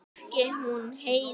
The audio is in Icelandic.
Ekki hún Heiða.